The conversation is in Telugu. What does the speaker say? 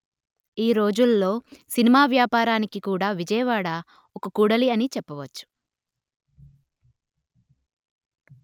ఈ రోజులలో సినిమా వ్యాపారానికి కూడా విజయవాడ ఒక కూడలి అని చెప్పవచ్చు